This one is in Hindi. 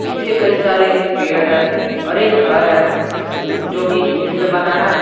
पीछे कई सारे पेड़ हैं और एक घर है जिस जो कि ईंट से बना है।